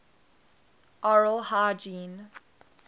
oral hygiene